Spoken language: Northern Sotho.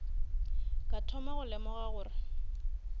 ka thoma go lemoga gore